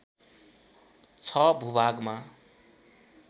६ भूभागमा